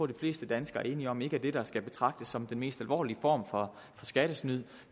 de fleste danskere er enige om ikke er det der skal betragtes som den mest alvorlige form for skattesnyd